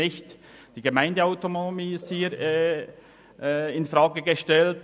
Hier wird nicht die Gemeindeautonomie infrage gestellt.